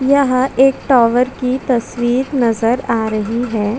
ए टा घर मोटो नो दखा देयचे --